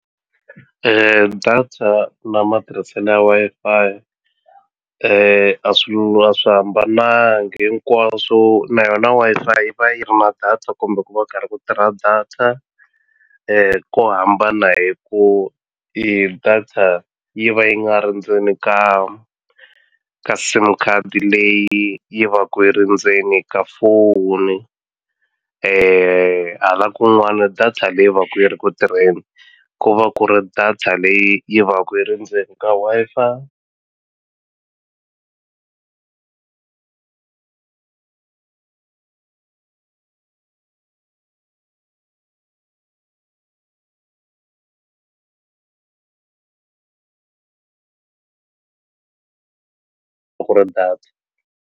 Data na matirhiselo ya Wi-Fi a a swi hambanangi hinkwaswo na yona Wi-Fi yi va yi ri na data kumbe ku va karhi ku tirha data ko hambana hi ku data yi va yi nga ri ndzeni ka ka sim card leyi yi vaka yi ri ndzeni ka foni hala kun'wani data leyi va ku yi ri ku tirheni ku va ku ri data leyi yi va ku yi ri ndzeni ka Wi-Fi ku ri data.